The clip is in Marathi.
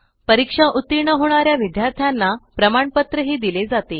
परीक्षा उत्तीर्ण होणाऱ्या विद्यार्थ्यांना प्रमाणपत्र ही दिले जाते